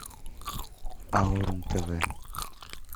аурум тв